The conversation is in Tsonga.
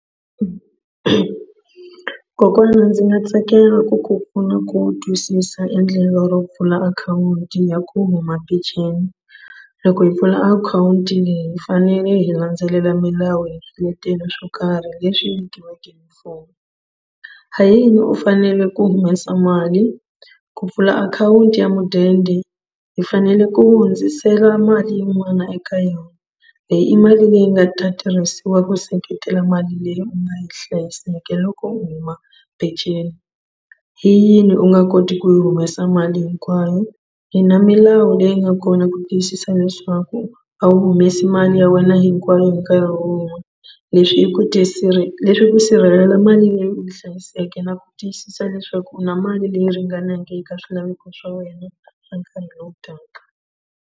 Kokwana ndzi nga tsakela ku ku pfuna ku twisisa endlelo ro pfula akhawunti ya huma peceni. Loko hi pfula akhawunti hi fanele hi landzelela milawu ya swiletelo swo karhi leswi vekiweke hi mfumo. Hayini u fanele ku humesa mali ku pfula akhawunti ya mudende hi fanele ku hundzisela mali yin'wana eka yona leyi i mali leyi nga ta tirhisiwa ku seketela mali leyi u nga yi hlayiseke loko u huma peceni. Hi yini u nga koti ku yi humesa mali hinkwayo hi na milawu leyi nga kona ku tiyisisa leswaku a wu humesi mali ya wena hinkwayo hi nkarhi wun'we leswi hi ku ku sirhelela mali leyi u yi hlayiseke na ku tiyisisa leswaku u na mali leyi ringanaka eka swilaveko swa wena swa nkarhi lowu taka.